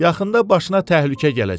Yaxında başına təhlükə gələcek.